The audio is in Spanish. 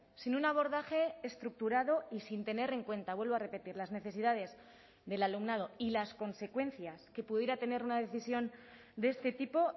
sin un abordaje estructurado y sin tener en cuenta vuelvo a repetir las necesidades del alumnado y las consecuencias que pudiera tener una decisión de este tipo